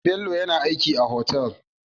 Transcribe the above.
Bello yAna aiki a hotel